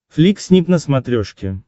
флик снип на смотрешке